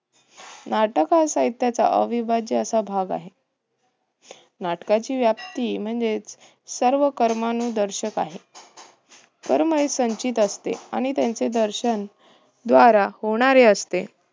नाटक हा साहित्याचा अविभाज्य असा भाग आहे. नाटकांची व्याप्ती म्हणजेच सर्व कर्मानुदर्शक आहे. कर्म हे संचित असते आणि त्यांचे दर्शन द्वारा होणारे असते.